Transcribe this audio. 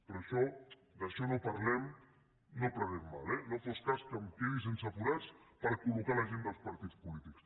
però d’això no en parlem no prenguem mal no fos cas que em quedi sense forats per col·locar la gent dels partits polítics